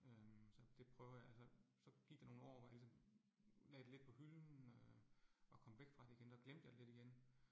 Øh så det prøver jeg altså, så gik der nogle år, hvor jeg ligesom lagde det lidt på hylden øh og kom væk fra det igen og glemte jeg det lidt igen